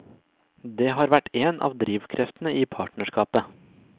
Det har vært en av drivkreftene i partnerskapet.